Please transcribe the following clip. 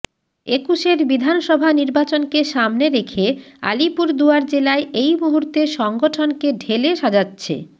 একুশের বিধানসভা নির্বাচনকে সামনে রেখে আলিপুরদুয়ার জেলায় এই মুহূর্তে সংগঠনকে ঢেলে সাজাচ্ছে